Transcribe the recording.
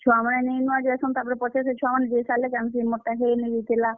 ଛୁଆମାନେ ନେଇ ନୁଆ ଜେସନ୍ ତାପ୍ ରେ, ପଛେ ସେ ଛୁଆ ମାନେ ଯେଇ ସାର୍ ଲେ ଜାନ୍ ସି ଯେ ମୋର୍ ଟା ହେ ନେଇଥିଲା।